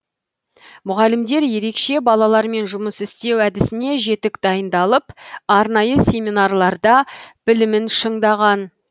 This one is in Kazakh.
мұғалімдер ерекше балалармен жұмыс істеу әдісіне жетік дайындалып арнайы семинарларда білімін шыңдаған